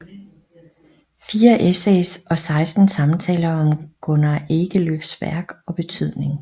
Fire essays og seksten samtaler om Gunnar Ekelöfs værk og betydning